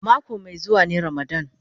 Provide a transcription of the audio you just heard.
Mako mai zuwa ne ramadan.